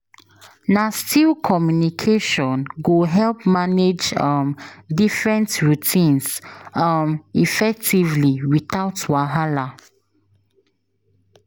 Na still communication go help manage um different routines um effectively without wahala.